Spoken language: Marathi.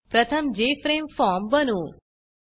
प्रथम जेएफआरएमई formजेफ्रेम फॉर्म बनवू